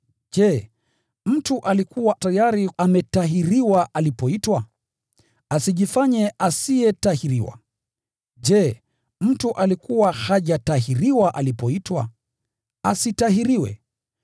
Je, mtu alikuwa tayari ametahiriwa alipoitwa? Asijifanye asiyetahiriwa. Je, mtu alikuwa hajatahiriwa alipoitwa? Asitahiriwe.